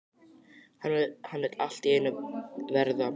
Hann vill allt í einu verða